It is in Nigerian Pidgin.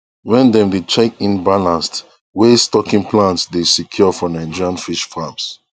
wen dem dey check in balanced way stocking plans dey secure for nigerian fish farms